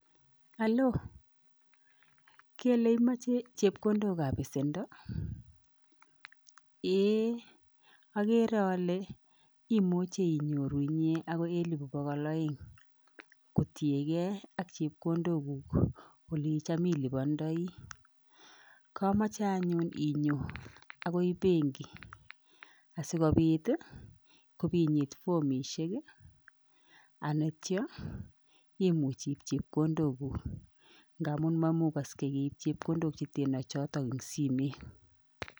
Alo? Kele imache chepkondokab pesendo? Eeh, agere ale imuchi inyoru inye agoi elipu bogol aeng kotienge ak chepkondok guk olecham ulupandai. Kamache anyun inyon agoi benki asigopit ii ipinyit fomisiek ii ak itya imuch iip chepkondok guk, ngamun mamugaksgei keip chepkondok cheteno cho eng simet.